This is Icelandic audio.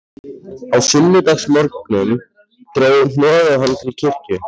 Á sunnudagsmorgnum dró hnoðað hann til kirkju.